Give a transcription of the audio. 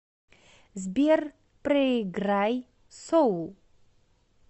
сбер проиграй соул